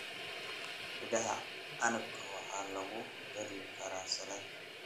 Midhaha canabka waxaa lagu dari karaa salad.